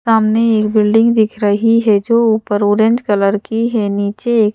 सामने एक बिल्डिंग दिख रही है जो ऊपर ऑरेंज कलर की है नीचे ए--